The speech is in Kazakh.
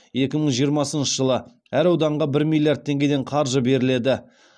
екі мың жиырмасыншы жылы әр ауданға бір миллиард теңгеден қаржы беріледі